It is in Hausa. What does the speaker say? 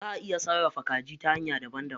Zaʼa iya sarrafa kaji ta hanya daban daban.